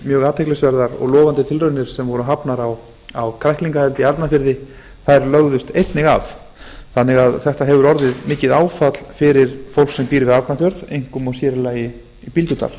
mjög athyglisverðar og lofandi tilraunir sem voru hafnar á kræklingaeldi í arnarfirði lögðust einnig af þannig að þetta hefur orðið mikið áfall fyrir fólk sem býr við arnarfjörð einkum og sér í lagi bíldudal